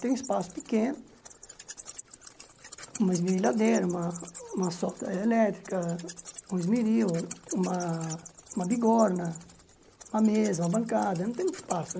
Tenho um espaço pequeno, uma esmerilhadeira, uma uma solda elétrica, um esmeril, uma uma bigorna, uma mesa, uma bancada, não tenho muito espaço né.